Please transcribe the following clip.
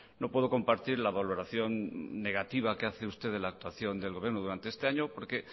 no puedo compartir la valoración negativa que hace usted de la actuación del gobierno durante este año porque